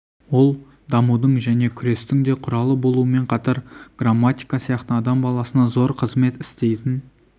ол дамудың және күрестің де құралы болумен қатар грамматика сияқты адам баласына зор қызмет істейтін